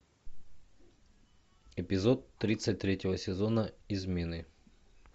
эпизод тридцать третьего сезона измены